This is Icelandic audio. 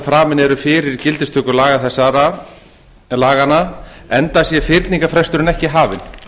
framin eru fyrir gildistöku laganna enda sé fyrningarfresturinn ekki hafinn